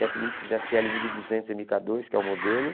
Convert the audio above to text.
Technics esse ele mil e duzentos eme cá dois, que é o modelo.